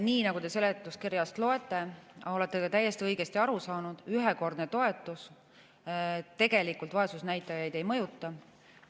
Nii nagu te seletuskirjast loete, olete ka täiesti õigesti aru saanud, ühekordne toetus tegelikult vaesusnäitajaid ei mõjuta.